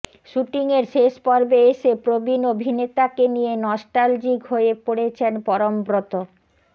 শুটিংয়ের শেষ পর্বে এসে প্রবীণ অভিনেতাকে নিয়ে নস্ট্যালজিক হয়ে পড়েছেন পরমব্রত